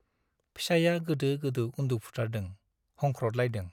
फिसाइया गोदो गोदो उन्दुफुथारदों , हंख्रदलायदों ।